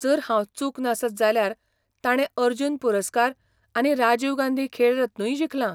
जर हांव चूक नासत जाल्यार ताणें अर्जून पुरस्कार आनी राजीव गांधी खेळ रत्नूय जिखला.